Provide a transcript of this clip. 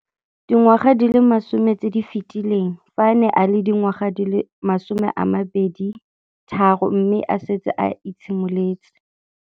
Dingwaga di le 10 tse di fetileng, fa a ne a le dingwaga di le 23 mme a setse a itshimoletse.